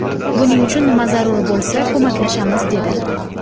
Buning uchun nima zarur bo‘lsa, ko‘maklashamiz, dedi.